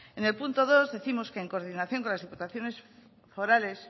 en su punto dos décimos que en coordinación con las diputaciones forales